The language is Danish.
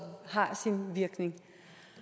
har en virkning